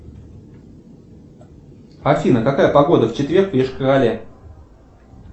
афина какая погода в четверг в йошкар оле